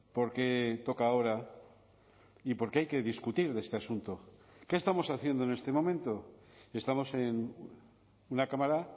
por qué toca ahora y por qué hay que discutir de este asunto qué estamos haciendo en este momento estamos en una cámara